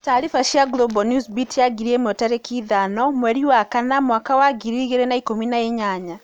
Tariba cia Global Newsbeat ya ngirĩ ĩmwe tarĩki ithano mweri wa kana mwaka wa ngiri igiri na ikũmi na inyanya.